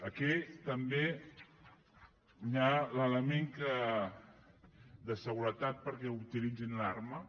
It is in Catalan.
aquí també hi ha l’element de seguretat perquè utilitzin l’arma